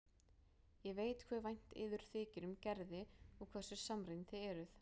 Ég veit hve vænt yður þykir um Gerði og hversu samrýmd þið eruð.